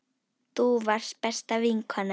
Þú varst besta vinkona mín.